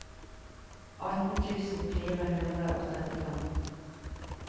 atten tusen fire hundre og trettifem